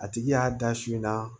A tigi y'a da su in na